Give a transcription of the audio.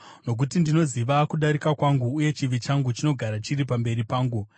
Nokuti ndinoziva kudarika kwangu, uye chivi changu chinogara chiri pamberi pangu.